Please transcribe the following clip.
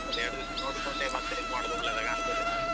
ಒಂದು ಎರಡು ದಿವಸ ನೋಡಿಕೊಂಡೆ ಮತ್ತೆ ಇದು ಮಾಡುದ್ ಒಳ್ಳೆ ಕಾಣ್ತದೆ.